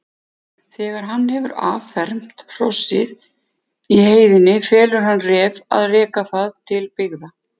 Þegar hann hefur affermt hrossið í heiðinni felur hann Ref að reka það til byggða.